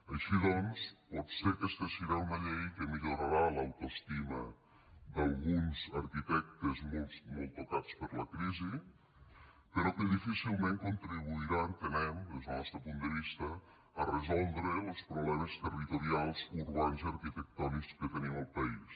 així doncs potser aquesta serà una llei que millorarà l’autoestima d’alguns arquitectes molt tocats per la crisi però que difícilment contribuirà entenem des del nostre punt de vista a resoldre los problemes territorials urbans i arquitectònics que tenim al país